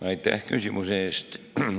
Aitäh küsimuse eest!